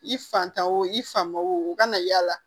I fataw i fa wo u kana yaala